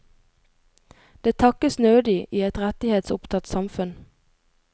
Det takkes nødig i et rettighetsopptatt samfunn.